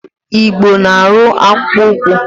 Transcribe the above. Igbo na-arụ akpụụkwụ.